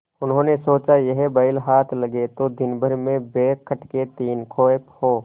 उन्होंने सोचा यह बैल हाथ लगे तो दिनभर में बेखटके तीन खेप हों